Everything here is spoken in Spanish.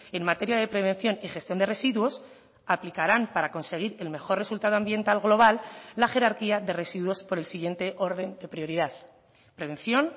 en materia de prevención y gestión de residuos aplicarán para conseguir el mejor resultado ambiental global la jerarquía de residuos por el siguiente orden de prioridad prevención